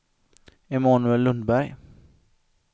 Emanuel Lundberg